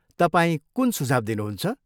तपाईँ कुन सुझाव दिनुहुन्छ?